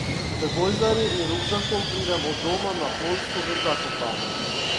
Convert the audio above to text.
Z gojzarji in rukzakom pridem od doma na Poljsko v Zakopane.